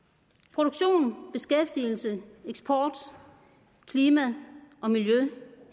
produktion beskæftigelse eksport klima og miljø